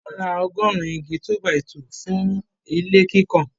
Wọ́n ra ọgọrùn-ún igi 2-by-2 fún ilé kíkàn.